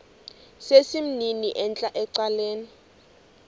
sesimnini entla ecaleni